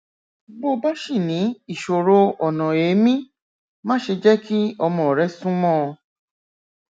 bó bá ṣì ní ìṣòro ọnà èémí máṣe jẹ kí ọmọ rẹ súnmọ ọn